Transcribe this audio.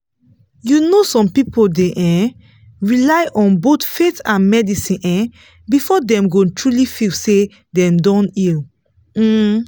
you know some people dey um rely on both faith and medicine um before dem go truly feel say dem don heal. um